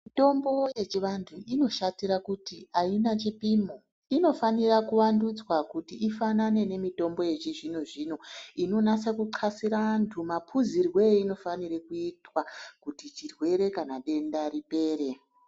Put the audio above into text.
Mitombo yechianthu inoshatira kuti aina chipimo, inofanira kuvandudzwa kuti ifanane nemitombo yechizvino-zvino inonasa kuxasire anthu maphuzirwe einofanira kuitwa kuti chirwere kana denda ripere.